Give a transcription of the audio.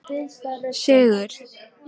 Sigur